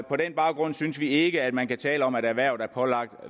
på den baggrund synes vi ikke at man kan tale om at erhvervet er pålagt